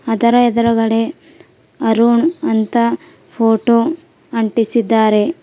ಅದರ ಎದ್ರುಗಡೆ ಅರುಣ್ ಅಂತ ಫೋಟೋ ಅಂಟಿಸಿದ್ದಾರೆ.